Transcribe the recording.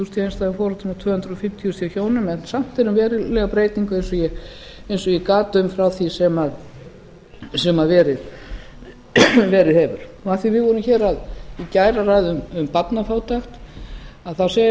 þúsund hjá einstæðum foreldrum og tvö hundruð fimmtíu þúsund hjá hjónum en samt er um verulega breytingu eins og ég gat um frá því sem verið hefur af því við vorum hér í gær að ræða um barnafátækt þá